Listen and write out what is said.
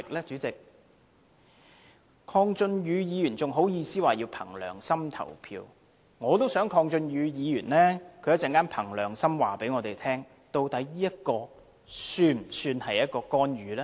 鄺俊宇議員還好意思說要憑良心投票，我也想鄺俊宇議員稍後憑良心告訴我們，究竟這做法是否屬於干預呢？